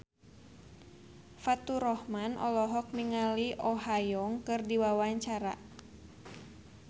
Faturrahman olohok ningali Oh Ha Young keur diwawancara